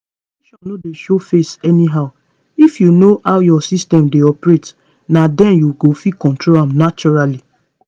ovulation no dey show face anyhow. if you know how your system dey operate na then you go fit control am naturally